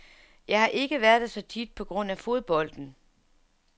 Jeg har ikke været der så tit på grund af fodbolden.